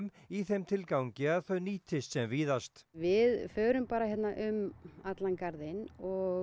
í þeim tilgangi að þau nýtist sem víðast við förum bara hérna um allan garðinn og